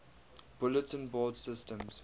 bulletin board systems